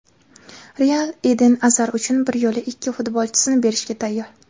"Real" Eden Azar uchun bir yo‘la ikki futbolchisini berishga tayyor.